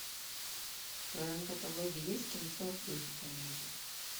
в твоем каталоге есть кинцо в духе комедии